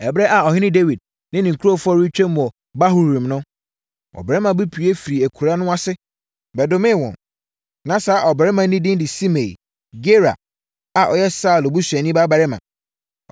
Ɛberɛ a ɔhene Dawid ne ne nkurɔfoɔ retwam wɔ Bahurim no, ɔbarima bi pue firii akuraa no ase bɛdomee wɔn. Na saa ɔbarima no din de Simei, Gera a ɔyɛ Saulo busuani babarima.